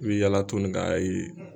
I bɛ yala toni k'a ye.